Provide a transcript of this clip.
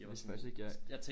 Jeg vidste faktisk ikke jeg